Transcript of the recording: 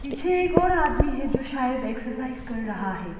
पीछे एक और आदमी है जो शायद एक्सरसाइज कर रहा है।